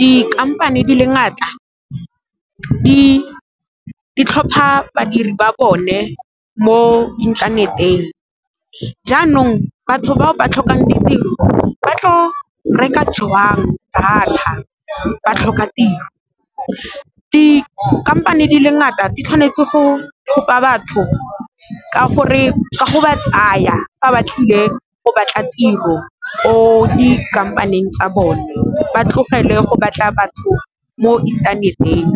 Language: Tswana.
Dikhamphane di le ngata di tlhopha badiri ba bone mo inthaneteng jaanong, batho bao ba tlhokang ditiro ba tlo reka jwang data ba tlhoka tiro. Dikhamphane di le ngata di tshwanetse go tlhopha batho ka go ba tsaya fa ba tlile go batla tiro ko dikhamphaneng tsa bone, ba tlogele go batla batho mo inthaneteng,